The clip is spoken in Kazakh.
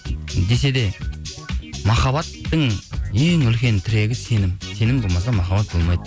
десе де махаббаттың ең үлкен тірегі сенім сенім болмаса махаббат болмайды